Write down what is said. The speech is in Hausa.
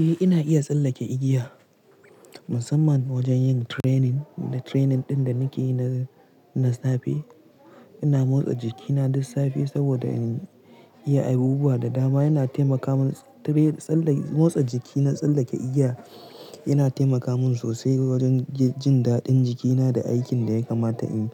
Eh ina iya tsallake igiya, musamman wajen yin training, da training ɗin da nake na-na safe. Ina motsa jikina duk safe saboda in iya abubuwa da dama yana taimaka mun tabe tsalle motsa jiki na tsallake igiya, yana taimaka mun sosai wajen jin daɗin jikina da aikin da ya kamata in yi